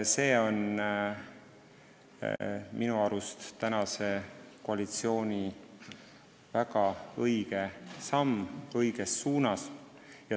See on minu arust tänase koalitsiooni väga õige samm õiges suunas.